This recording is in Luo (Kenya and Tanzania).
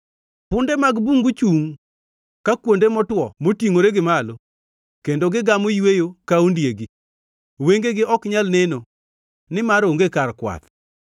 Punde mag bungu chungʼ ka kuonde motwo motingʼore gi malo, kendo gigamo yweyo ka ondiegi; wengegi ok nyal neno nimar onge kar kwath.”